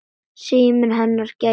Síminn hennar gæti ver